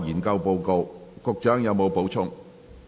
局長，你有否補充？